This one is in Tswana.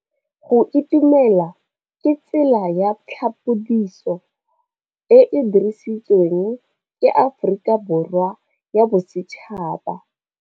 Go itumela ke tsela ya tlhapolisô e e dirisitsweng ke Aforika Borwa ya Bosetšhaba.